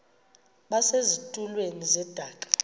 base zitulmeni zedaka